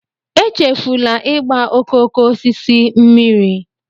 echefula ịgba okooko osisi mmiri